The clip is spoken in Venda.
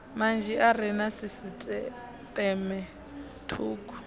manzhi are na sisiṱeme thukhu